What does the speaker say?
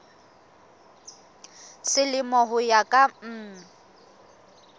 selemo ho ya ka mm